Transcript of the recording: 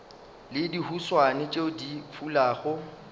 le dihuswane tšeo di fulago